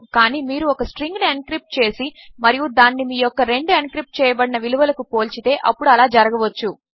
కానిమీరుఒకస్ట్రింగ్నుఎన్క్రిప్ట్చేసిమరియుదానినిమీయొక్కరెండుఎన్క్రిప్ట్చేయబడినవిలువలకుపోల్చితే అప్పుడుఅలాజరగవచ్చు